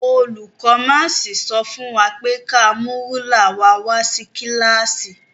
Olùkó máàsì sọ fún wa pé ka mú rúlà wa wá sí kílàsì.